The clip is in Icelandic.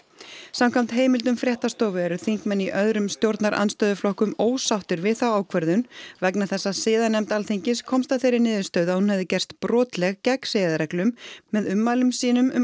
samvæmt heimildum fréttastofu eru þingmenn í öðrum stjórnarandstöðuflokkum ósáttir við þá ákvörðun vegna þess siðanefnd Alþingis komst að þeirri niðurstöðu að hún hefði gerst brotleg gegn siðareglum með ummælum sínum um